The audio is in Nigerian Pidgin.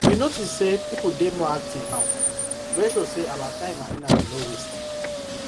we notice say people dey more active now wey show say our time and energy no waste